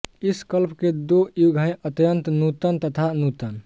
इस कल्प के दो युग हैं अत्यंत नूतन तथा नूतन